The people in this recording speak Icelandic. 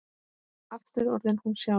Aftur orðin hún sjálf.